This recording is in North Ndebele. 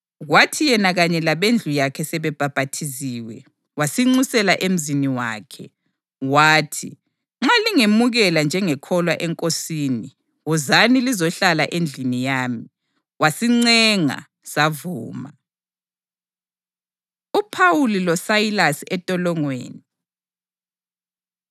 Kwathi yena kanye labendlu yakhe sebebhaphathiziwe, wasinxusela emzini wakhe. Wathi, “Nxa lingemukela njengekholwa eNkosini, wozani lizohlala endlini yami.” Wasincenga savuma. UPhawuli LoSayilasi Entolongweni